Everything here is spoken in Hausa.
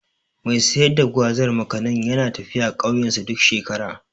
Mai sayar da Gwazar/ Makanin yana tafiya ƙauyensu duk shekara.